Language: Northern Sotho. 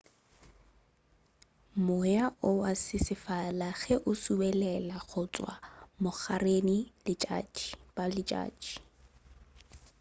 moya o wa sesefala ge o subelela go tšwa bogareng bja letšatši